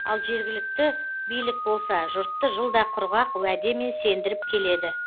ал жергілікті билік болса жұртты жылда құрғақ уәдемен сендіріп келеді